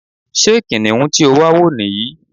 Ṣé kìnìún tí o wà wo ní yí?